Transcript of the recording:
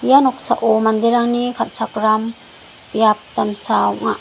ia noksao manderangni kal·chakram biap damsa ong·a.